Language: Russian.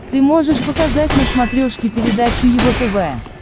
ты можешь показать на смотрешке передачу его тв